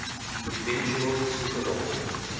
eventual super bowl